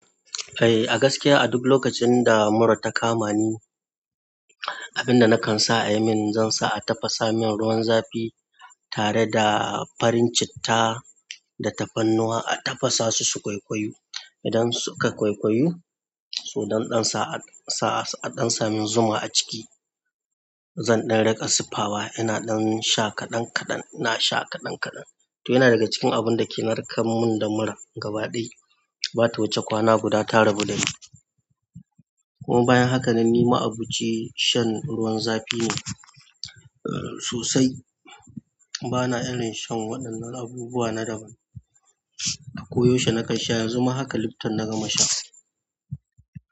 Eh, a gaskiya a duk lokacin da mura ta kama ni, abin da nakan sa a yi min, zan sa a tafasa min ruwan zafi tare da farin citta da tafarnuwa, a tafasa su, su ƙwaiƙwayu. Idan suka ƙwaiƙwayu, so zan ɗan sa a sa mun zuma a ciki. Zan ɗan riƙa siffawa, ina ɗan sha kaɗan kaɗan, ina sha kaɗan-kaɗan. Toh yana daga cikin abun dake narkar mun da mura gaba ɗaya. Bata wuce kwana guda ta rabu dani, kuma bayan haka ni ma'aboci shan ruwan zafi ne. Sosai, bana irin shan waɗannan abubuwa na daban. A koyaushe na kan sha yanzu ma haka Lipton na gama sha.